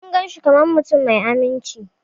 Mun gan shi kaman mutum mai amince.